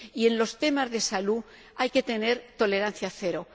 En los temas de salud hay que tener tolerancia cero.